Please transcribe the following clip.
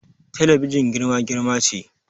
Talabijin girma-girma ce